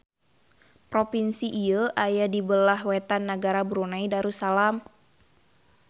Propinsi ieu aya di beulah wetan nagara Brunei Darussalam